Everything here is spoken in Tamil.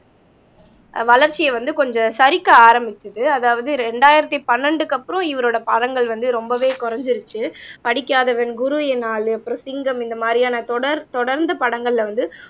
வளர்ச்சியை வந்து கொஞ்சம் சறுக்க ஆரம்பிச்சது அதாவது இரண்டாயிரத்தி பன்னண்டுக்கு அப்புறம் இவரோட படங்கள் வந்து ரொம்பவே குறைஞ்சிருச்சு படிக்காதவன் குரு என் ஆளு அப்புறம் சிங்கம் இந்த மாதிரியான தொடர் தொடர்ந்து படங்கள்ல வந்து